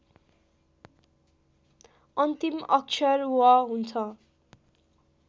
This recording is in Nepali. अन्तिम अक्षर व हुन्छ